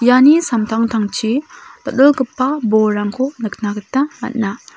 iani samtangtangchi dal·dalgipa bolrangko nikna gita man·a.